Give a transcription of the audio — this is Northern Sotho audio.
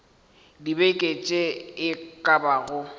dibeke tše e ka bago